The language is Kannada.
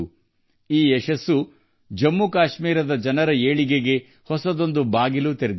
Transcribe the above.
ಈ ಯಶಸ್ಸು ಜಮ್ಮು ಕಾಶ್ಮೀರದ ಜನರ ಏಳಿಗೆಗೆ ಹೊಸ ಬಾಗಿಲು ತೆರೆದಿದೆ